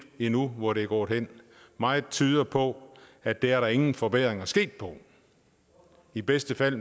endnu hvor det er gået hen meget tyder på at der er der ingen forbedringer sket i bedste fald